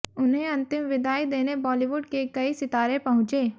उन्हें अंतिम विदाई देने बॉलीवुड के कई सितारे पहुंचे